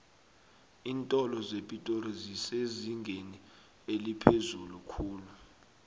iintolo zepitori zisezingeni eliphezulu khulu